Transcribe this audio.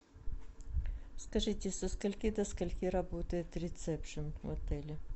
скажите со скольки до скольки работает ресепшн в отеле